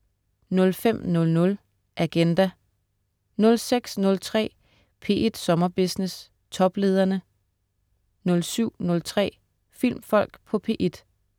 05.00 Agenda* 06.03 P1 Sommerbusiness. Toplederne* 07.03 Filmfolk på P1*